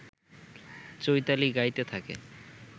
চৈতালি গাইতে থাকে